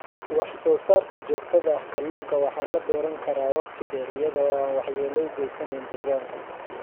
Wax-soo-saarka joogtada ah Kalluunka waxaa la beeran karaa waqti dheer iyada oo aan waxyeello u geysanayn deegaanka.